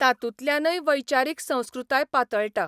तातूंतल्यानय वैचारीक संस्कृताय पातळटा.